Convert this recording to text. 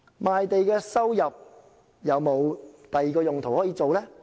賣地收入有否其他用途呢？